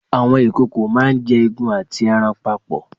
Àwọn ìkòkò máá ń jẹ egun àti ẹran papọ̀